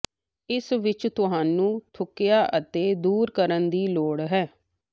ਇਸ ਵਿੱਚ ਤੁਹਾਨੂੰ ਥੁੱਕਿਆ ਅਤੇ ਦੂਰ ਕਰਨ ਦੀ ਲੋੜ ਹੈ